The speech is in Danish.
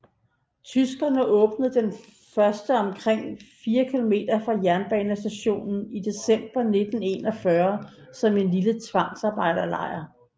Tyskerne åbnede den første omkring 4 km fra jernbanestationen i december 1941 som en lille tvangsarbejdslejr